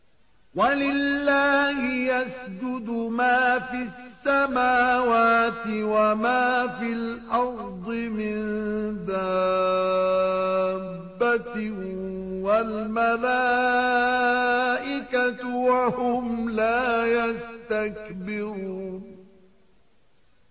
وَلِلَّهِ يَسْجُدُ مَا فِي السَّمَاوَاتِ وَمَا فِي الْأَرْضِ مِن دَابَّةٍ وَالْمَلَائِكَةُ وَهُمْ لَا يَسْتَكْبِرُونَ